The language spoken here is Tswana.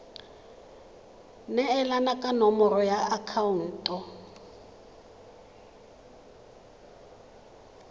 neelana ka nomoro ya akhaonto